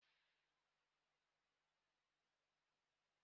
Nigeria ọ nọ na ọchịchị onye kwuo uche ya?